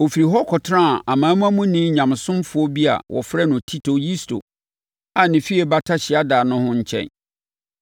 Ɔfirii hɔ kɔtenaa aman amanmuni Nyamesomfoɔ bi a wɔfrɛ no Tito Yusto a ne fie bata hyiadan ho no nkyɛn.